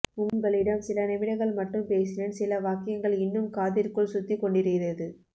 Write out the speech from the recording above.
உங்களிடம் சில நிமிடங்கள் மட்டும் பேசினேன் சில வாக்கியங்கள் இன்னும் காதிற்குள் சுத்திக் கொண்டிருகிறது